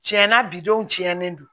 Tiɲɛna bi denw tiɲɛlen don